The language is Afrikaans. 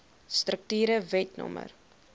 strukture wet no